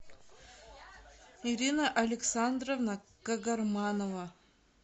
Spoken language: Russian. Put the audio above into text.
ирина александровна кагарманова